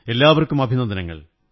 എല്ലാവര്ക്കും അഭിനന്ദനങ്ങൾ